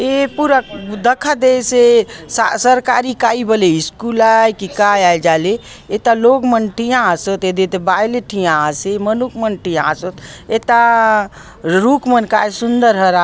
ए पुरा दखा देईसए सरकारी काय बली स्कूल आए के का आय जाले एता लोग मन टिया आसोत बाये ले टिया आसे मनुक मन टिया आसे एटा रूप मन काय सुंदर हरे